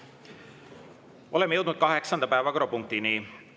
Oleme jõudnud kaheksanda päevakorrapunktini.